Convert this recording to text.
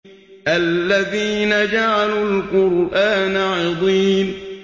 الَّذِينَ جَعَلُوا الْقُرْآنَ عِضِينَ